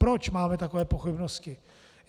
Proč máme takové pochybnosti?